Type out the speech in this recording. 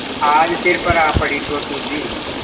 आज सिर पर आ पड़ी तो सूझी